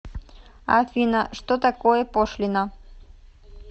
афина что такое пошлина